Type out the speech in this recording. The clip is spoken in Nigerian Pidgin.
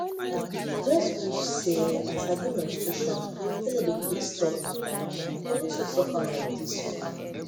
i just wish say i sabi menstruation wey no dey quick stop matter for no too suffer like this oo